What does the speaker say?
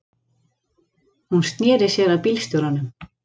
Hún sneri sér að bílstjóranum.